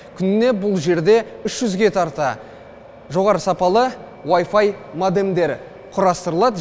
күніне бұл жерде үш жүзге тарта жоғары сапалы вайфай модемдер құрастырылады